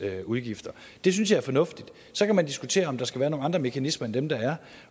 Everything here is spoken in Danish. udgifter det synes jeg er fornuftigt så kan man diskutere om der skal være nogle andre mekanismer end dem der er